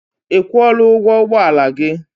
I kwụọla ụgwọ ụgbọala gị?